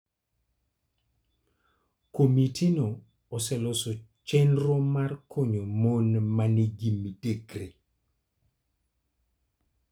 Komitino oseloso chenro mar konyo mon ma nigi midekre.